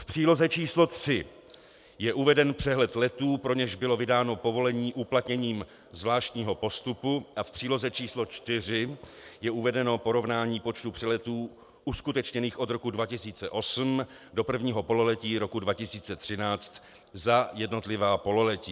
V příloze číslo 3 je uveden přehled letů, pro něž bylo vydáno povolení uplatněním zvláštního postupu, a v příloze číslo 4 je uvedeno porovnání počtu přeletů uskutečněných od roku 2008 do prvního pololetí roku 2013 za jednotlivá pololetí.